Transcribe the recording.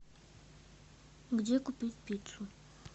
где купить пиццу